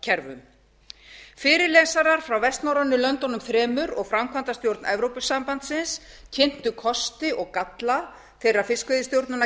fiskveiðistjórnarkerfum fyrirlesarar frá vestnorrænu löndunum þremur og framkvæmdastjórn evrópusambandsins kynntu kosti og galla þeirra